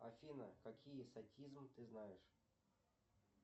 афина какие садизм ты знаешь